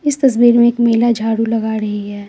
इस तस्वीर में एक महिला झाड़ू लगा रही है।